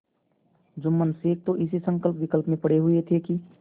जुम्मन शेख तो इसी संकल्पविकल्प में पड़े हुए थे कि